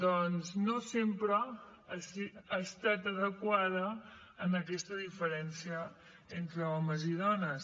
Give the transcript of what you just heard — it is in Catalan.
doncs no sempre ha estat adequada a aquesta diferència entre homes i dones